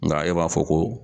Nga e b'a fɔ ko